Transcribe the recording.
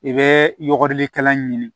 I bɛ yɔgɔrilikɛla ɲini